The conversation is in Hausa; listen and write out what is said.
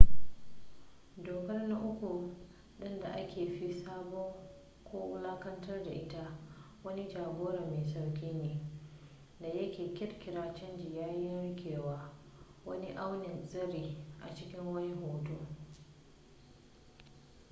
dokar na uku ɗin da aka fi saɓa ko wulaƙantar da ita wani ja-gora mai sauƙi ne da yake ƙirƙira canji yayin riƙewa wani aunin tsari a cikin wani hoto